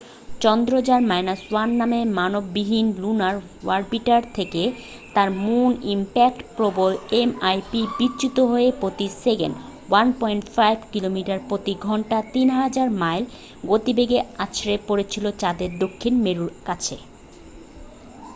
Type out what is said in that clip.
চন্দ্রযান -1 নামের মানবহীন lunar orbiter থেকে তার মুন ইমপ্যাক্ট প্রোবএমআইপি বিচ্যুত হয়ে প্রতি সেকেন্ডে 1.5 কিলোমিটার প্রতি ঘন্টা 3000 মাইল গতিবেগে আছড়ে পড়েছিল চাঁদের দক্ষিণ মেরুর কাছে।